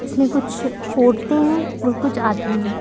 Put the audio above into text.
इसमें कुछ औरतें हैं और कुछ आदमी है।